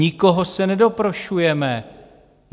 Nikoho se nedoprošujeme.